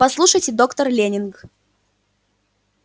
послушайте доктор лэннинг